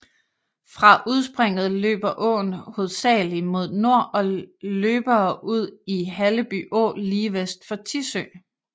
Fra udspringet løber åen hovedsagelig mod nord og løbere ud i Halleby Å lige vest for Tissø